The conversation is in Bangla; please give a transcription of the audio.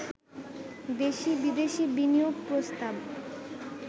দেশি-বিদেশি বিনিয়োগ প্রস্তাব